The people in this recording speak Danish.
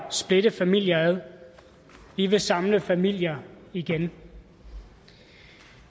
splitte familier ad vi vil samle familier igen